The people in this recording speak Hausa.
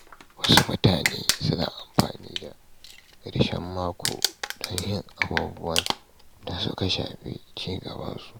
Wasu mutane suna amfani da ƙarshen mako don yin abubuwan da suka shafi ci gaban kansu.